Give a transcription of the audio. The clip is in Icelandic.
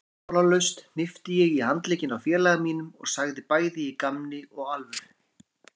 Formálalaust hnippti ég í handlegginn á félaga mínum og sagði bæði í gamni og alvöru